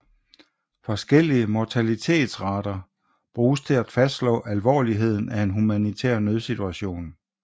Forskellige mortalitetsrater bruges til at fastslå alvorligheden af en humanitær nødsituation